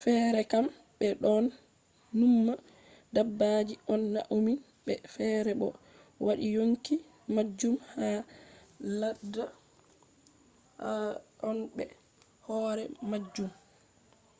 feere kam ɓe ɗon numma dabbaji on maunini ɓe; feere bo ɓe waɗi yonki majum ha ladda on be hoore majum